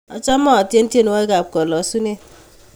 Achame atyeni tyenwogik ap kalosunet